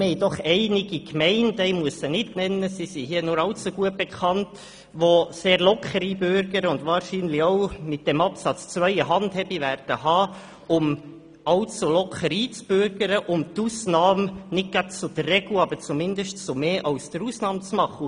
Wir haben doch einige Gemeinden – ich muss diese nicht nennen, sie sind nur allzu gut bekannt –, welche sehr locker einbürgern und wahrscheinlich mit Absatz 2 eine Handhabe erhalten, allzu locker einzubürgern und die Ausnahme nicht gerade zur Regel, aber zumindest zu mehr als der Ausnahme machen.